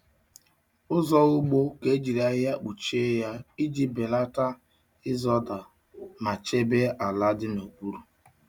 Ụzọ ugbo ka ejiri ahịhịa kpuchie ya iji belata ịzọda ma chebe ala dị n'okpuru.